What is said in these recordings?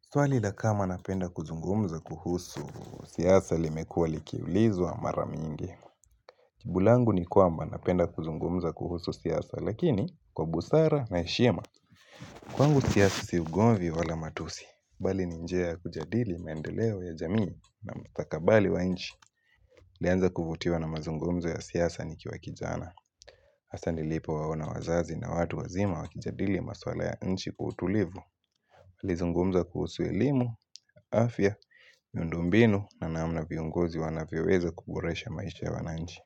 Swali la kama napenda kuzungumza kuhusu siasa limekuwa likiulizwa mara mingi. Jibu langu ni kwamba napenda kuzungumza kuhusu siasa lakini kwa busara na heshima. Kwangu siasa siugomvi wala matusi. Bali ninjia kujadili mendeleo ya jamii na mstakabali wa inchi. Nilianza kuvutiwa na mazungumza ya siasa nikiwa kijana. Hasa nilipo waona wazazi na watu wazima wakijadili maswala ya nchi kwa utulivu. Nilizungumza kuhusu elimu, afya, miundo mbinu na namna viongozi wanavyo weza kuboresha maisha ya wananchi.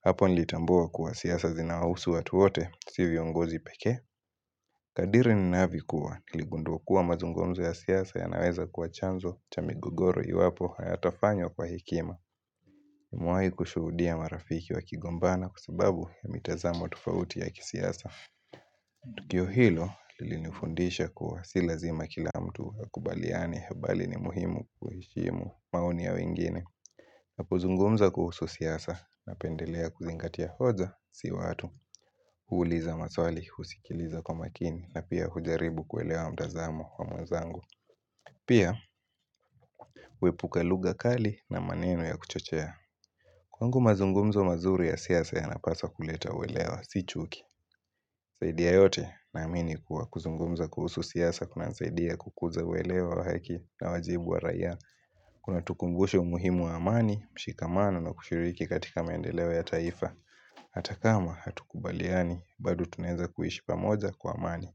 Hapo nilitambua kuwa siasa zina husu watu wote si viongozi pekee Kadiri ninaavyokuwa, niligunduwa kuwa mazungumza ya siasa yanaweza kuwa chanzo cha migogoro iwapo hayatafanywa kwa hekima Nimewahi kushuhudia marafiki wa kigombana kwa sababu ya mitazamo tofauti ya kisiasa Tukio hilo lilinufundisha kuwa silazima kila mtu ya akubaliane mbali ni muhimu kuheshimu maoni ya wengine na kuzungumza kuhusu siasa na pendelea kuzingatia hoja si watu huuliza maswali, husikiliza kwa makini na pia hujaribu kuelewa mtazamo wa mwezangu Pia huepuka lugha kali na maneno ya kuchochea Kwangu mazungumzo mazuri ya siasa yanapaswa kuleta uwelewa, si chuki zaidi ya yote na amini kuwa kuzungumza kuhusu siasa kuna saidia kukuza uwelewa wa haki na wajibu wa raiya Kuna tukumbusha umuhimu wa amani, mshikamano na kushiriki katika mendeleo ya taifa Hata kama hatu kubaliani, badu tunaeza kuishi pamoja kwa amani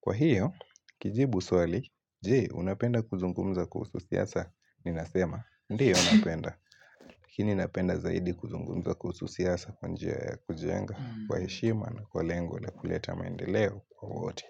Kwa hiyo, kijibu swali, je, unapenda kuzungumza kuhusu siasa nina sema, ndiyo napenda laKini napenda zaidi kuzungunga kuhusu siasa kwa njia yakujenga kwa heshima na kwa lengo na kuleta maendeleo kwa wote.